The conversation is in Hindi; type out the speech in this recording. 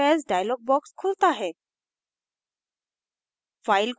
save as dialog box खुलता है